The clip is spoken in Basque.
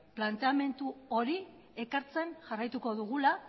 planteamendu hori ekartzen jarraituko dugula